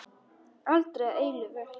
Aldrei að eilífu.